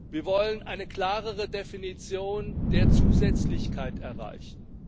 Wir wollen eine klarere Definition der Zusätzlichkeit erreichen.